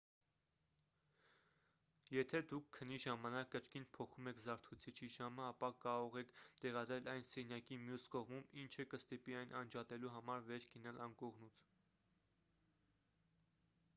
եթե դուք քնի ժամանակ կրկին փոխում եք զարթուցիչի ժամը ապա կարող եք տեղադրել այն սենյակի մյուս կողմում ինչը կստիպի այն անջատելու համար վեր կենալ անկողնուց